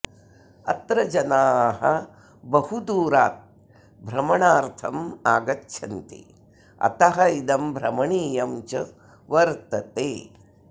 अत्र जनाः बहुदूरात् भ्रमनार्थं आगच्छन्ति अतः इदं भ्रमणीयं च वर्तते